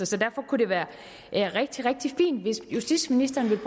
så derfor kunne det være rigtig rigtig fint hvis justitsministeren ville